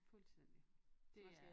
Fuldstændig det er